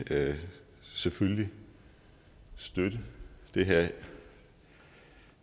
selvfølgelig støtte det her